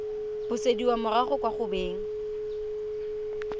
busediwa morago kwa go beng